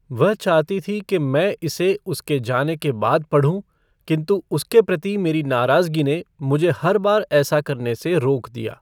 वह चाहती थी कि मैं इसे उसके जाने के बाद पढ़ूँ किन्तु उसके प्रति मेरी नाराज़गी ने मुझे हर बार ऐसा करने से रोक दिया।